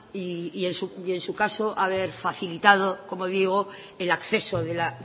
y en su caso haber facilitado como digo el acceso de la